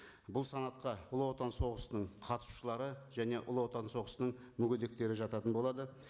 бұл санатқа ұлы отан соғысының қатысушылары және ұлы отан соғысының мүгедектері жататын болады